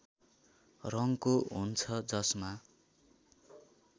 रङको हुन्छ जसमा